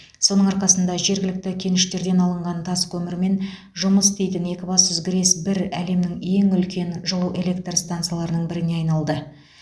соның арқасында жергілікті кеніштерден алынған таскөмірмен жұмыс істейтін екібастұз грэс бір әлемнің ең үлкен жылу электр стансаларының біріне айналды